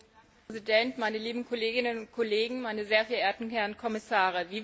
Herr Präsident, meine lieben Kolleginnen und Kollegen, meine sehr verehrten Herren Kommissare!